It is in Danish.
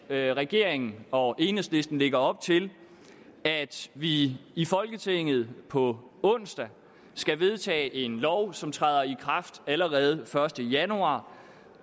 at regeringen og enhedslisten lægger op til at vi i folketinget på onsdag skal vedtage en lov som træder i kraft allerede den første januar